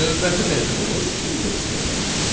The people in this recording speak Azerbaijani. Növbəti metodumuz indeks metodudur.